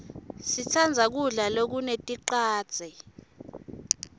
sitsandza kudla lokuneticadze